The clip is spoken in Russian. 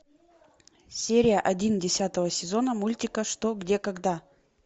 серия один десятого сезона мультика что где когда